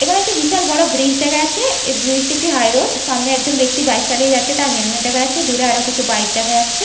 এখানে একটি বিশাল বড় ব্রিজ দেখা যাচ্ছে এই ব্রিজ টি একটি হাই রোড সামনে একজন ব্যক্তি বাইক চালিয়ে যাচ্ছে তার হেলমেট দেখা যাচ্ছে দূরে আরো কিছু বাইক দেখা যাচ্ছে।